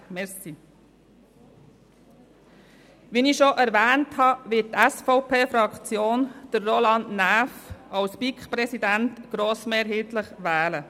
Wie ich bereits erwähnt habe, wird die SVP-Fraktion grossmehrheitlich Roland Näf zum BiK-Präsidenten wählen.